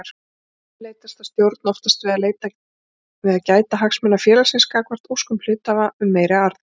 Ennfremur leitast stjórn oftast við að gæta hagsmuna félagsins gagnvart óskum hluthafa um meiri arð.